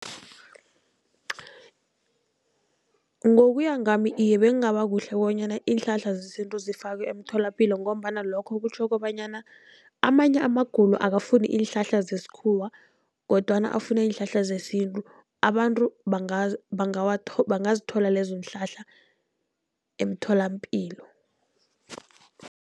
Ngokuya ngami iye, bekungaba kuhle bonyana iinhlahla zesintu zifakwe emtholapilo, ngombana lokho kutjho kobanyana amanye amagulo akafuni iinhlahla zesikhuwa kodwana afuna iinhlahla zesintu. Abantu bangazithola lezo iinhlahla emtholapilo.